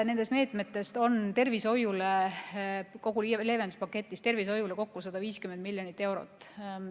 Nendest meetmetest, kogu leevenduspaketist on tervishoiule ette nähtud kokku 150 miljonit eurot.